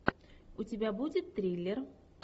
у тебя будет триллер